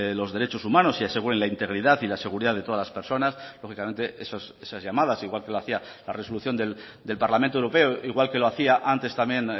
los derechos humanos y aseguren la integridad y la seguridad de todas las personas lógicamente esas llamadas igual que lo hacia la resolución del parlamento europeo igual que lo hacía antes también